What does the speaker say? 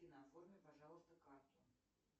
афина оформи пожалуйста карту